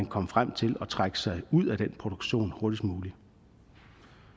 komme frem til at trække sig ud af den produktion hurtigst muligt